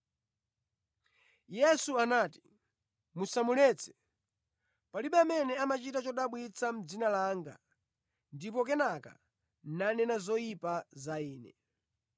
Yesu anati, “Musamuletse, palibe amene amachita chodabwitsa mʼdzina langa ndipo kenaka nanena zoyipa za Ine,